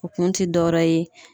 O kun ti dɔwɛrɛ ye